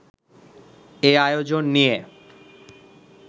এ আয়োজন নিয়ে